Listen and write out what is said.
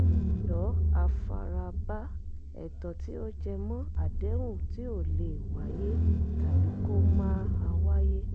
ẹ̀tọ́ àfarabá: ẹ̀tọ́ tí ó jẹmọ́ àdéhùn ti o lè wáyé tàbí kó máa wáyé